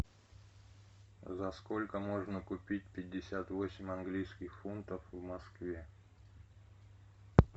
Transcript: за сколько можно купить пятьдесят восемь английских фунтов в москве